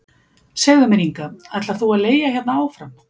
Segðu mér Inga, ætlar þú að leigja hérna áfram?